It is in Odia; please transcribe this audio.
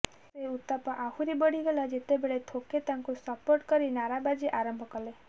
ସେ ଉତ୍ତାପ ଆହୁରି ବଢ଼ିଗଲା ଯେତେବେଳେ ଥୋକେ ତାକୁ ସପୋର୍ଟ କରି ନାରାବାଜି ଆରମ୍ଭ କଲେ